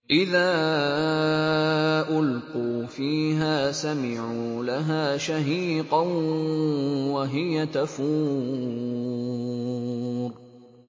إِذَا أُلْقُوا فِيهَا سَمِعُوا لَهَا شَهِيقًا وَهِيَ تَفُورُ